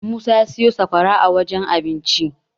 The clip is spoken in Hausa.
Musa ya siyo sakwara a wajen abincin.